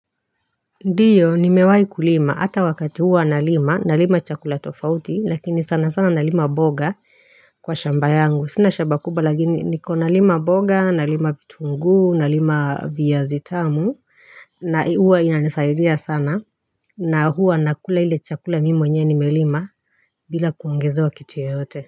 Ndiyo nimewai kulima hata wakati huwa nalima, nalima chakula tofauti, lakini sanasana nalima mboga kwa shamba yangu, sina shamba kubwa lakini niko nalima mboga, nalima vitunguu, nalima viazi tamu na huwa inanisaidia sana, na huwa nakula ile chakula mimi mwenyewe nimelima bila kuongezewa kitu yoyote.